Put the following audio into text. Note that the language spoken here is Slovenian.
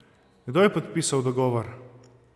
Kdo je podpisal dogovor?